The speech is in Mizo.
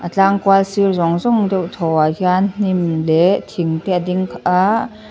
tlang kual sir zawng zawng deuh thawh ah hian hnim leh thing te a ding a.